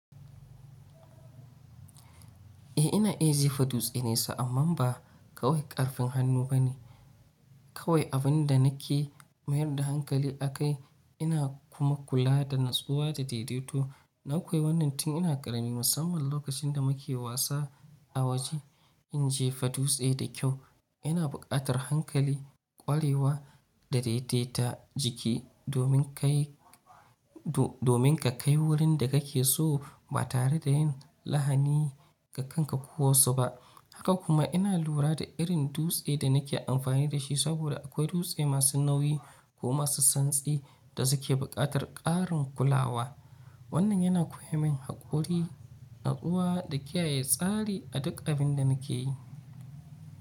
Eh ina iya jefa dutse ne so amman ba kawai ƙarfin hannu bane, kawai abin da nake mayar da hankali akai ina kuma kula da natsuwa da daidaito. Na koyi wannan tun ina ƙarami musamman lokacin da muke wasa a waje. In jefa dutse da kyau ina buƙatar hankali, ƙwarewa da daidaita jiki domin ka kai wurin da kake so ba tare da yin lahani ga kan ka ko wasu ba. Haka kuma ina lura da irin dutse da nake amfani da shi saboda akwai dutse masu nauyi ko masu santsi da suke buƙatar ƙarin kulawa. Wannan yana koya min haƙuri, natsuwa da kiyaye tsari a duk abin da nake yi.